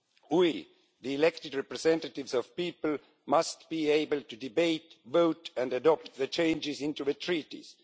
We, the elected representatives of the people, must be able to debate, vote and adopt changes to the Treaties.